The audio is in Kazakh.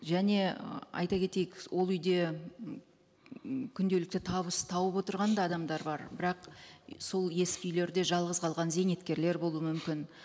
және айта кетейік ол үйде м күнделікті табыс тауып отырған да адамдар бар бірақ сол ескі үйлерде жалғыз қалған зейнеткерлер болуы мүмкін